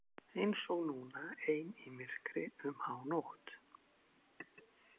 Eins og núna, ein í myrkri um hánótt.